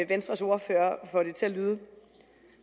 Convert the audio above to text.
venstres ordfører får det til at lyde